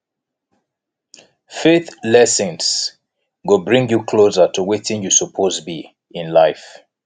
faith lessons go bring yu closer to wetin yu soppose bi in life